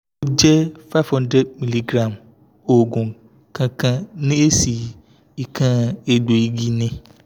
o je five hundred mg oogun kankan ni esi ikan egboigi ni